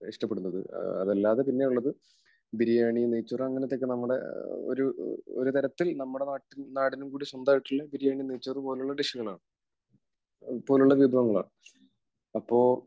ഇഷ്ടപ്പെടുന്നത്. അതല്ലാതെ പിന്നെയുള്ളത് ബിരിയാണി, നെയ്ച്ചോറ് അങ്ങനത്തെയൊക്കെ നമ്മുടെ ഒരു, ഒരു തരത്തിൽ നമ്മുടെ നാട്ടിൽ, നാടിനും കൂടി സ്വന്തമായിട്ടുള്ള ബിരിയാണി, നെയ്ച്ചോറ് പോലെയുള്ള ഡിഷുകൾ ആണ്. പോലുള്ള വിഭവങ്ങളാണ്, അപ്പോൾ